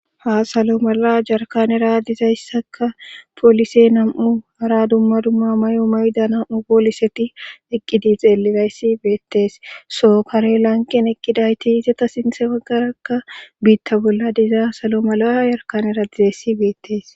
Ha salo mala jarkanera dizayssaka poolise nam'u ara dumma dumma may'o mayda nam'u pooliseti eqqidi xeelirayssi beettees sookare lanqen eqqidayti izata sinse waggarakka biitta bolla diza salo mala ha yarkanera dizayssi beettees.